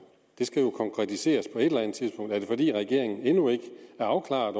det skal jo konkretiseres på et eller andet tidspunkt er det fordi regeringen endnu ikke er afklaret